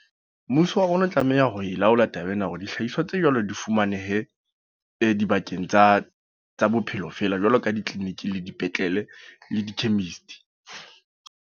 Mmuso wa rona o tlameha hore e laola taba ena. Hore dihlahiswa tse jwalo di fumanehe, dibakeng tsa, tsa bophelo fela. Jwalo ka di-clinic, le dipetlele le di chemist.